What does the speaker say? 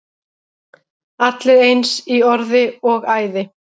Allir eins í orði og æði.